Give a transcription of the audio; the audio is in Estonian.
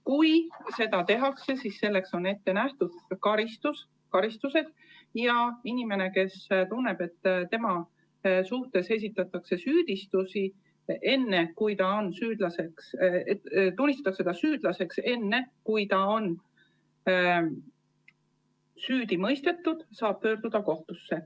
Kui seda tehakse, siis on ette nähtud karistused, ja inimene, kes tunneb, et ta tunnistatakse süüdlaseks enne, kui ta on süüdi mõistetud, saab pöörduda kohtusse.